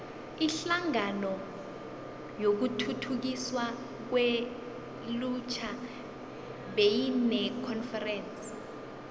inhlangano yokuthuthukiswa kwelutjha beyinekonferense